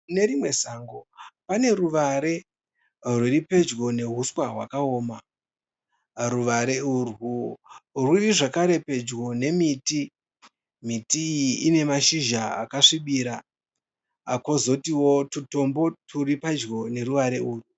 Kune rimwe sango pane ruware rwuri padyo nehuswa hwakaoma. Ruware urwu rwuri pedyo nemiti, miti iyi ine mashizha akasvibira kozotiwo twutombo twuri padyo neuware urwu.